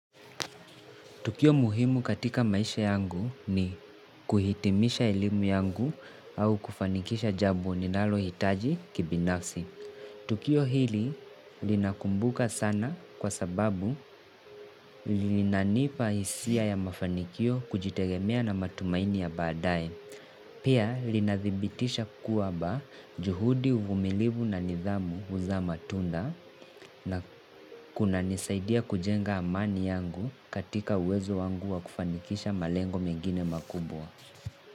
Tukio muhimu katika maisha yangu ni kuhitimisha elimu yangu au kufanikisha jambo ninalohitaji kibinafsi. Tukio hili ninakumbuka sana kwa sababu linanipa hisia ya mafanikio, kujitegemea na matumaini ya baadae. Pia linadhibitisha kwamba juhudi, uvumilivu na nidhamu huzaa matunda na kunanisaidia kujenga amani yangu katika uwezo wangu wa kufanikisha malengo mengine makubwa.